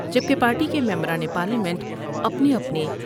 جب کہ پارٹی کے ممبران پارلیمنٹ اپنے اپنے ۔